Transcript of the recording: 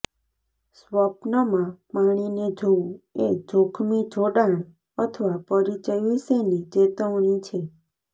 સ્વપ્નમાં પાણીને જોવું એ જોખમી જોડાણ અથવા પરિચય વિશેની ચેતવણી છે